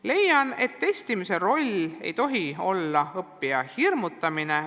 Leian, et testimise roll ei tohi olla õppija hirmutamine.